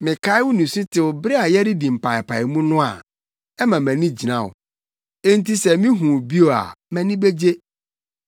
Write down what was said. Mekae wo nisutew bere a yɛredi mpaapaemu no a, ɛma mʼani gyina wo. Enti sɛ mihu wo bio a mʼani begye.